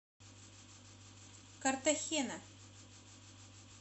картахена